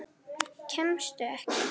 Kemstu ekki?